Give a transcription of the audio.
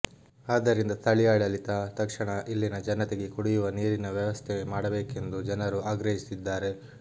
ಆದ್ದರಿಂದ ಸ್ಥಳೀಯಾಡಳಿತ ತತ್ಕ್ಷಣ ಇಲ್ಲಿನ ಜನತೆಗೆ ಕುಡಿಯುವ ನೀರಿನ ವ್ಯವಸ್ಥೆ ಮಾಡಬೇಕೆಂದು ಜನರು ಆಗ್ರಹಿಸಿದ್ದಾರೆ